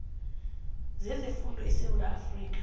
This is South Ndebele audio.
zezefundo esewula afrika